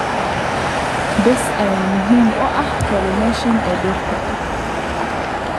Bees ayaa muhiim u ah pollination ee dhirta.